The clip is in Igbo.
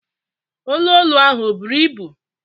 Olu olu ahụ ọ buru ibu?